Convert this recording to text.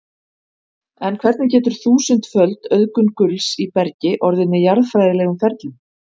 En hvernig getur þúsundföld auðgun gulls í bergi orðið með jarðfræðilegum ferlum?